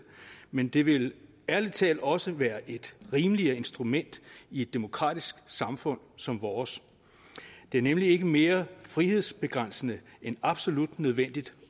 men det vil ærlig talt også være et rimeligere instrument i et demokratisk samfund som vores det er nemlig ikke mere frihedsbegrænsende end absolut nødvendigt